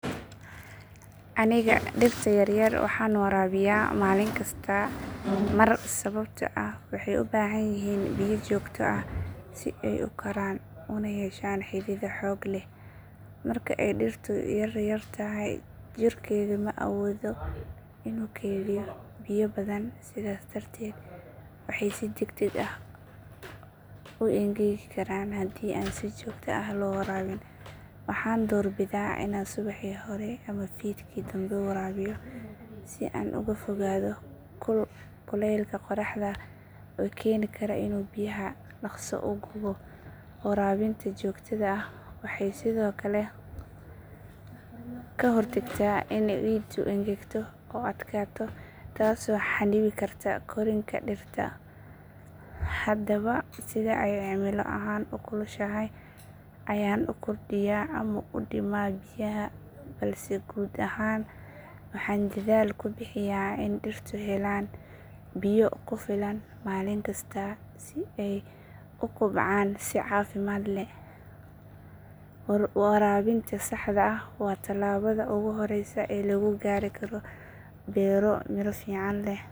Aniga dhirta yaryar waxaan waraabiyaa maalinkasta mar sababtoo ah waxay u baahan yihiin biyo joogto ah si ay u koraan una yeeshaan xidido xoog leh. Marka ay dhirtu yaryar tahay jirkeedu ma awoodin inuu kaydiyo biyo badan sidaas darteed waxay si degdeg ah u engegi karaan haddii aan si joogto ah loo waraabin. Waxaan doorbidaa inaan subaxii hore ama fiidkii dambe waraabiyo si aan uga fogaado kulka qoraxda oo keeni kara inuu biyaha dhaqso u gubo. Waraabinta joogtada ah waxay sidoo kale ka hortagtaa in ciiddu engegto oo adkaato taasoo xannibi karta korriinka dhirta. Hadba sida ay cimilo ahaan u kulushahay ayaan u kordhiyaa ama u dhimaa biyaha balse guud ahaan waxaan dadaal ku bixiyaa in dhirtu helaan biyo ku filan maalin kasta si ay u kobcaan si caafimaad leh. Waraabinta saxda ah waa tallaabada ugu horreysa ee lagu gaari karo beero miro fiican leh.